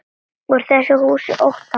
Úr þessu húsi óttans.